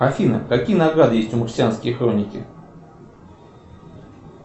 афина какие награды есть у марсианской хроники